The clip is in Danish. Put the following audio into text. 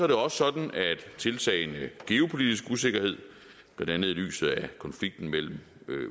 det også sådan at tiltagende geopolitisk usikkerhed blandt andet i lyset af konflikten mellem